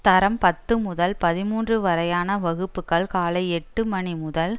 தரம் பத்து முதல் பதிமூன்று வரையான வகுப்புக்கள் காலை எட்டு மணி முதல்